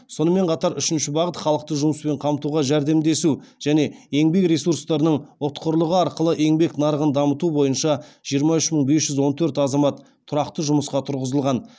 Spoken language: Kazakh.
сонымен қатар үшінші бағыт халықты жұмыспен қамтуға жәрдемдесу және еңбек ресурстарының ұтқырлығы арқылы еңбек нарығын дамыту бойынша жиырма үш мың бес жүз он төрт азамат тұрақты жұмысқа тұрғызылған